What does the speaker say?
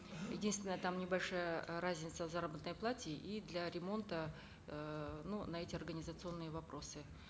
единственное там небольшая э разница в заработной плате и для ремонта эээ ну на эти организационные вопросы